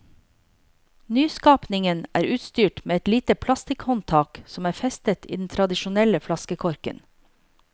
Nyskapningen er utstyrt med et lite plastikkhåndtak, som er festet i den tradisjonelle flaskekorken.